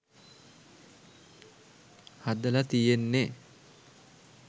හදලා තියෙන්නේ.